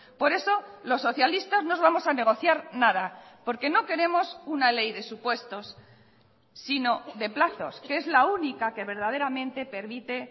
por eso los socialistas no os vamos a negociar nada porque no queremos una ley de supuestos sino de plazos que es la única que verdaderamente permite